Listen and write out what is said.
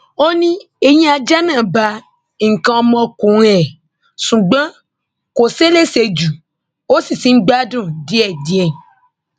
ó ní eyín ajá náà bá nǹkan ọmọkùnrin ẹ ṣùgbọn kò ṣeé léṣe jù o sì ti ń gbádùn díẹdíẹ